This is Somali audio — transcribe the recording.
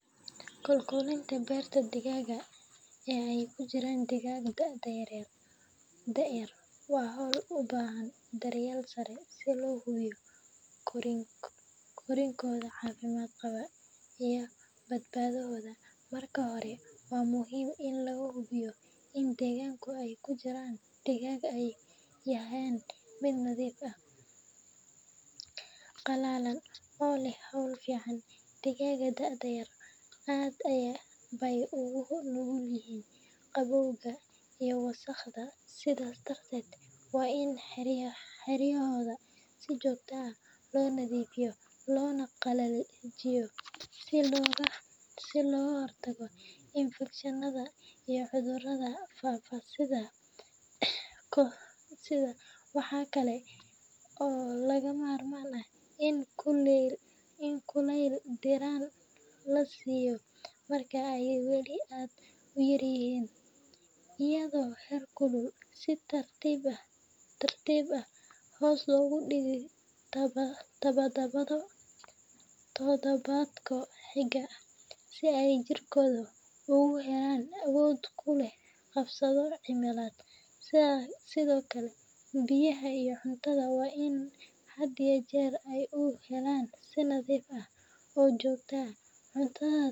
Kolkolinta beertada digaagga ee ay ku jiraan digaagga da’da yar waa hawl u baahan daryeel sare si loo hubiyo korriinkooda caafimaad qaba iyo badbaadadooda. Marka hore, waa muhiim in la hubiyo in deegaanka ay ku jiraan digaagga uu yahay mid nadiif ah, qalalan, oo leh hawo fiican. Digaagga da’da yar aad bay ugu nugul yihiin qabowga iyo wasakhda, sidaas darteed waa in xeryahooda si joogto ah loo nadiifiyaa loona qalajiyaa si looga hortago infekshannada iyo cudurrada faafa sida "Coccidiosis." Waxaa kale oo lagama maarmaan ah in kuleyl diirran la siiyo marka ay weli aad u yaryihiin , iyadoo heerkulka si tartiib tartiib ah hoos loogu dhigo toddobaadba toddobaadka xiga, si ay jirkoodu ugu helo awood uu kula qabsado cimilada. Sidoo kale, biyaha iyo cuntada waa in had iyo jeer ay u helaan si nadiif ah oo joogto ah cuntada.